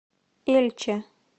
эльче